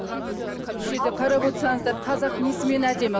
енді бұл жерде қарап отырсаңыздар қазақ несімен әдемі